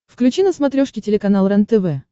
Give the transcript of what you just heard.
включи на смотрешке телеканал рентв